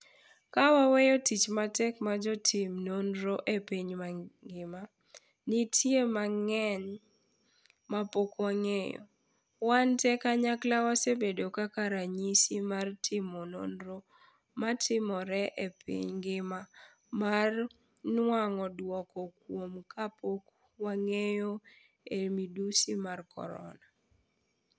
Ka waweyo tich matek ma jotim nonro e piny mangima, nitie mang'eny mapok wang'eyo, wan tee kanyakla wasebedo kaka ranyisi mar timo nonro matimore e piny ngima mar nwang'o dwoko kuom kapok wang'eyo e midhusi mar korona.